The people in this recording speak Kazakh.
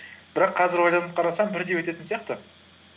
бірақ қазір ойланып қарасам бірдей өтетін сияқты